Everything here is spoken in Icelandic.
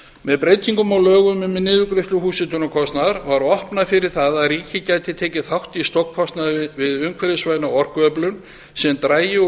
með breytingum á lögum um niðurgreiðslur húshitunarkostnaðar var opnað fyrir það að ríkið gæti tekið þátt í stofnkostnaði við umhverfisvæna orkuöflun sem drægi úr